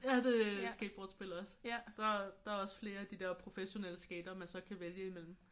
Ja det er skateboardspil også. Der der er også flere af de der professionelle skatere man så kan vælge imellem